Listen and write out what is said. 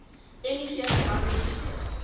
miv verwante siektes